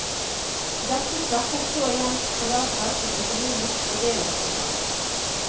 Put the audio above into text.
Dette svekket så igjen palasset som økonomisk fordelingssentral.